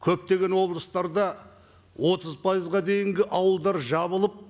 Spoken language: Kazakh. көптеген облыстарда отыз пайызға дейінгі ауылдар жабылып